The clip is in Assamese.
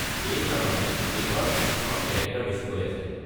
এইকাৰণে এইবাৰ ফিল্মখনত কেৰেক্টাৰ বেছিকৈ আছে।